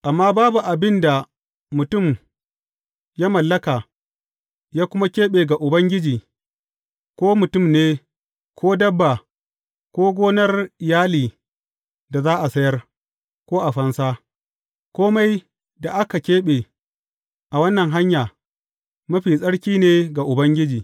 Amma babu abin da mutum ya mallaka, ya kuma keɓe ga Ubangiji, ko mutum ne, ko dabba, ko ganar iyali da za a sayar, ko a fansa; kome da aka keɓe a wannan hanya, mafi tsarki ne ga Ubangiji.